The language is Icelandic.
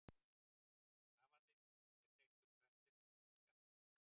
Rafallinn er tengdur hverflinum með skafti.